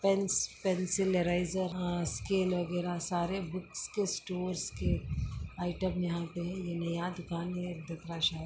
Pens pencil eraser आ scale वगेरा सारे बुक्स के स्टोर के आयटम यहाँ पे है ये नया दुकान है दिखरा शायद।